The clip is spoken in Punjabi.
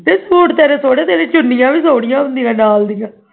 ਸੂਟ ਤੇਰੇ ਸੋਹਣੇ ਤੇਰੀਆਂ ਚੁੰਨੀਆਂ ਵੀ ਸੁਣਿਆ ਹੁੰਦੀਆ ਹੈ ਨਾਲ ਦਿਆਂ